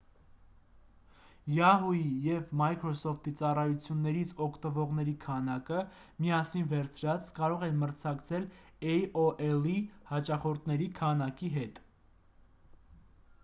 yahoo!-ի և microsoft-ի ծառայություններից օգտվողերի քանակը՝ միասին վերցրած կարող է մրցակցել aol-ի հաճախորդների քանակի հետ: